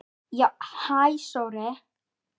Já, hæ Sóri.